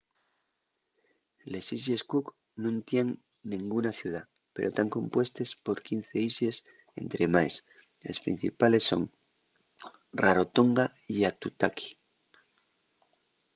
les islles cook nun tienen nenguna ciudá pero tán compuestes por 15 islles estremaes les principales son rarotonga y aitutaki